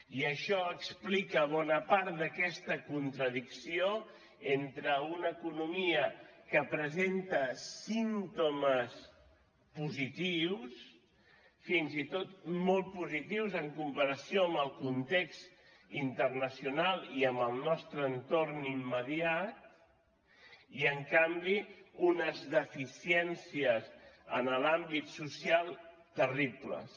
i això explica bona part d’aquesta contradicció entre una economia que presenta símptomes positius fins i tot molt positius en comparació amb el context internacional i amb el nostre entorn immediat i en canvi unes deficiències en l’àmbit social terribles